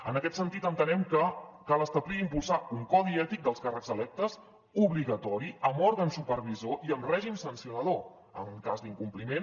en aquest sentit entenem que cal establir i impulsar un codi ètic dels càrrecs electes obligatori amb òrgan supervisor i amb règim sancionador en cas d’incompliment